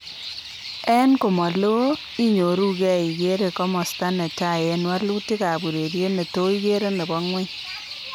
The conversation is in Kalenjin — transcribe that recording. En komalo inyoru geh ikere komasta netai en walutik ab ureriet neto igere nebo ngweny